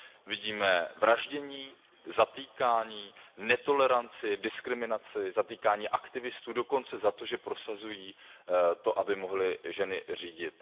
Vidíme vraždění, zatýkání, netoleranci, diskriminaci, zatýkání aktivistů dokonce za to, že prosazují to, aby mohly ženy řídit.